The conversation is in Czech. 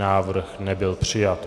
Návrh nebyl přijat.